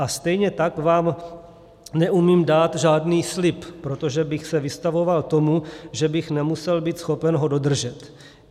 A stejně tak vám neumím dát žádný slib, protože bych se vystavoval tomu, že bych nemusel být schopen ho dodržet.